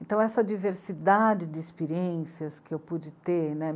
Então, essa diversidade de experiências que eu pude ter, né.